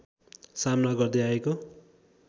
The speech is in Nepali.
सामना गर्दै आएको